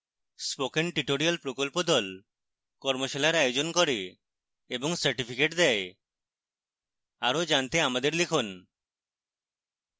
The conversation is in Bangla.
spoken tutorial প্রকল্প the কর্মশালার আয়োজন করে এবং certificates দেয় আরো জানতে আমাদের লিখুন